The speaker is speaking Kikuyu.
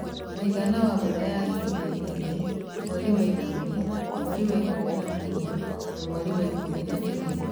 Mũigana wa mbura ya ihinda inini (mweri wa ikumi, mweri wa ikumi na ũmwe na mweri wa Ikumi na igĩrĩ)